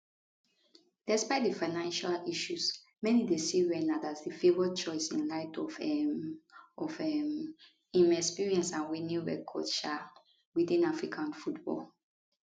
despite di financial issues many dey see renard as di favoured choice in light of um of um im experience and winning record um witin african football